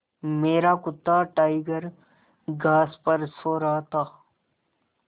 मेरा कुत्ता टाइगर घास पर सो रहा था